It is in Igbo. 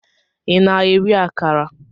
Ị na-eri akara?